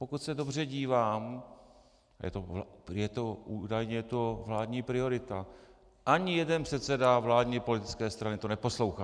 Pokud se dobře dívám, je to údajně vládní priorita - ani jeden předseda vládní politické strany to neposlouchá.